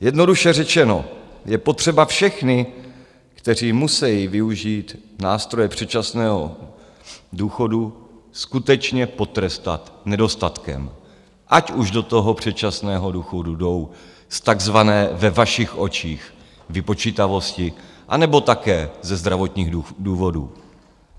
Jednoduše řečeno, je potřeba všechny, kteří musejí využít nástroje předčasného důchodu, skutečně potrestat nedostatkem, ať už do toho předčasného důchodu jdou z takzvané ve vašich očích vypočítavosti, anebo také ze zdravotních důvodů.